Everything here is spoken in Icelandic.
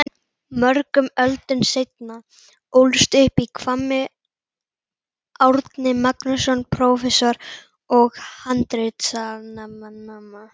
Mörgum öldum seinna ólst upp í Hvammi Árni Magnússon prófessor og handritasafnari.